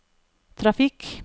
trafikk